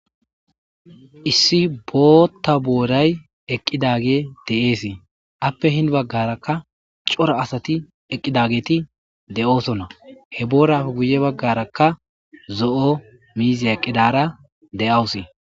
Issi bootta booray eqqidage de7eesii appe hin baggarakka cora asati eqqidageeti de7oosonna he boorafe guye baggarakka zo7o miizey eqqidara de7awusi